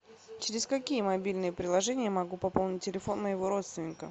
через какие мобильные приложения я могу пополнить телефон моего родственника